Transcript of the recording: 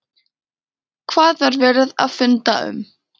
Hvað var verið að funda um?